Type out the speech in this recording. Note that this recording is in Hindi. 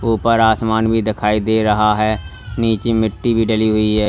ऊपर आसमान भी दिखाई दे रहा है नीचे मिट्टी भी डली हुई है।